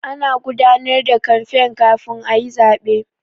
Ana gudanar da kamfen kafin a yi zaɓe.